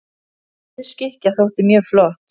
Rauð skikkja þótti mjög flott.